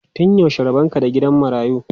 Tun yaushe rabon ka da gidan marayu?